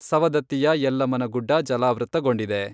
ಸೌವದತ್ತಿಯ ಯಲ್ಲಮ್ಮನ ಗುಡ್ಡ ಜಲಾವೃತ್ತಗೊಂಡಿದೆ.